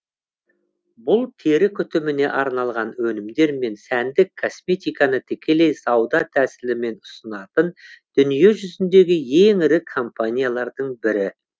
бұл тері күтіміне арналған өнімдер мен сәндік косметиканы тікелей сауда тәсілімен ұсынатын дүние жүзіндегі ең ірі компаниялардың бірі